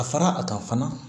A fara a kan fana